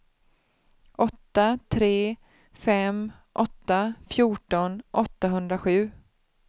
åtta tre fem åtta fjorton åttahundrasju